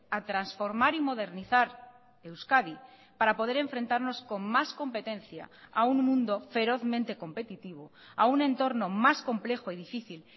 a transformar y modernizar euskadi para poder enfrentarnos con más competencia a un mundo ferozmente competitivo a un entorno más complejo y difícil